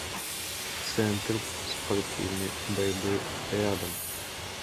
центр спортивной борьбы рядом